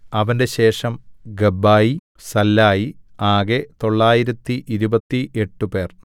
അവന്റെ ശേഷം Gabbai Sallai ആകെ തൊള്ളായിരത്തി ഇരുപത്തി എട്ട് പേർ